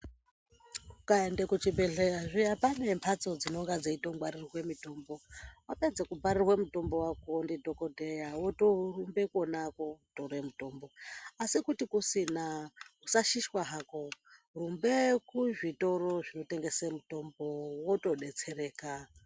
Ukaenda kuchibhedhleya zviyani pane mbatso dzinonga dzeitongwaririrwe mitombo. Wapedza kubharirwa mutombo wako ndidhokodheya wotorumba kona kotore mutombo. Asi kuti kusina usashishwa hako rumba kuzvitoro zvinotengese mutombo wotobetsereka.